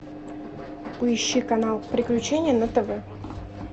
поищи канал приключения на тв